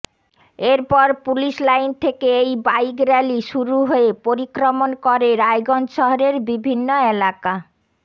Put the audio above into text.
এরপর police line থেকে এই বাইক র্যালি শুরু হয়ে পরিক্রমণ করে রায়গঞ্জ শহরের বিভিন্ন এলাকা